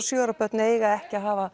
sjö ára börn eiga ekki að hafa